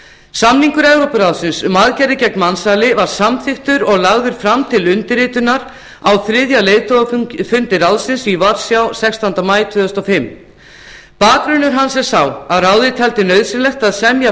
samningur evrópuráðsins um aðgerðir gegn mansali var samþykktur og lagður fram til undirritunar á þriðja leiðtogafundi ráðsins í varsjá sextánda maí tvö þúsund og fimm bakgrunnur hans er sá að ráðið taldi nauðsynlegt að semja